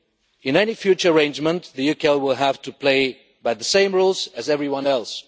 In any future arrangement, the UK will have to play by the same rules as everyone else.